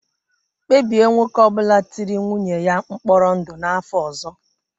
Kpebie nwoke ọ bụla tiri nwunye ya mkpọrọ ndụ n'afọ ọzọ.